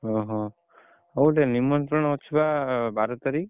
ଓହୋ ହଉ ଗୋଟେ ନିମନ୍ତ୍ରଣ ଅଛି ବା ବାର ତାରିଖ!